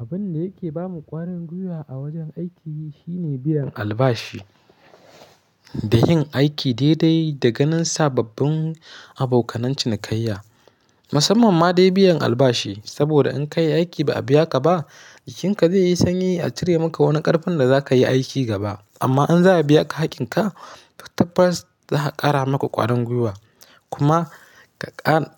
Abun da yake bamu ƙwarin gwiwa a wajen aiki shine biyan albashi da yin aiki daidai da ganin sababbin abokan cinikayya. Musamman ma dai biyan albashi, saboda in ka yi aiki ba a biya ka ba, jikinka zai yi sanyi a cire maka wani ƙarfin da za ka yi aiki gaba. Amma in za a biya ka haƙƙinka, first za a ƙara maka ƙwarin gwiwa kuma